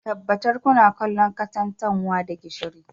Tabbatar kuna kallon katantanwa da gishiri